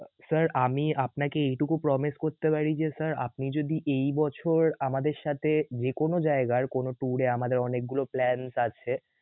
আহ sir আমি আপনাকে এইটুকু promise করতে পারি যে sir আপনি যদি এই বছর আমাদের সাথে যেকোনো জায়গার কোন tour এ আমাদের অনেক গুলো plans আছে